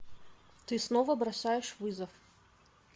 ты снова бросаешь вызов